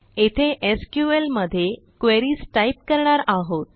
येथे एसक्यूएल मध्ये queries type करणार आहोत